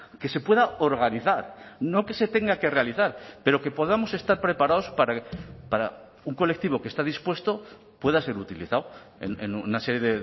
que se pueda organizar no que se tenga que realizar pero que podamos estar preparados para un colectivo que está dispuesto pueda ser utilizado en una serie